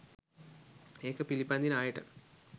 ඒක පිළිපදින අයට.